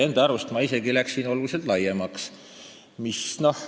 Enda arust ma käsitlesin teemat isegi oluliselt laiemalt.